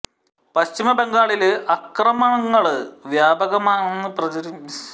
പശ്ചിമ ബംഗാളില് അക്രമങ്ങള് വ്യാപകമാണെന്ന് പ്രചരിപ്പിക്കുന്നതിനായി ബിജെപിയും കേഡര് പാര്ട്ടികളും ശ്രമിക്കുന്നു